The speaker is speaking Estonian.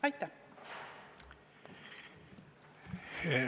Aitäh!